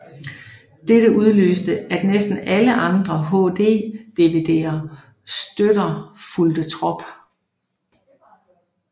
Dette udløste at næsten alle andre HD DVD støtter fulgte trop